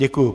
Děkuji.